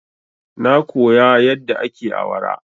Na koya yadda ake awara.